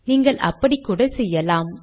நீங்கள் அப்படிக்கூட செய்யலாம்